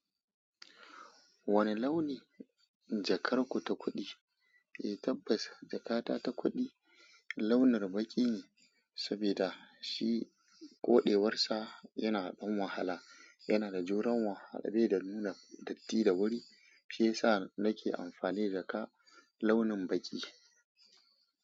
Wani launi jakar ku ta kuɗi? Eh tabbas jakata ta kuɗi launin baƙi ne, saboda shi koɗewarsa yana ɗan wahala, yana da juran wahala bai da nuna datti da wuri, shi yasa nake amfani da ka launin baƙi.